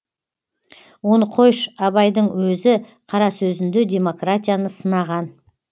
оны қойш абайдың өзі қара сөзінде демократияны сынаған